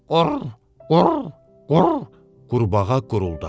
"Qur, qur, qur," qurbağa quruldadı.